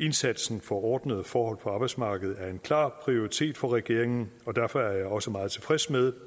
indsatsen for ordnede forhold på arbejdsmarkedet er en klar prioritet for regeringen og derfor er jeg også meget tilfreds med